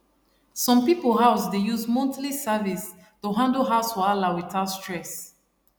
some house people dey use monthly service to handle house wahala without stress